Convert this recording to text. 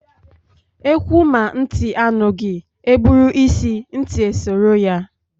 Ewuh ma ntị anughi, e gburu isi, ntị esoro ya